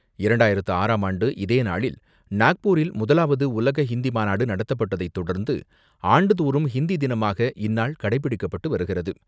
இரண்டாயிரத்து ஆறாம் ஆண்டு இதேநாளில் நாக்பூரில் முதலாவது உலக ஹிந்தி மாநாடு நடத்தப்பட்டதை தொடர்ந்து, ஆண்டுதோறும் ஹிந்தி தினமாக இந்நாள் கடைபிடிக்கப்பட்டு வருகிறது.